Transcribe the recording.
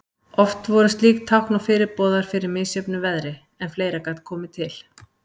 Oft voru slík tákn og fyrirboðar fyrir misjöfnu veðri, en fleira gat komið til.